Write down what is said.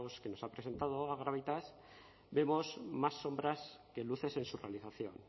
que nos ha presentado agravitas vemos más sombras que luces en su realización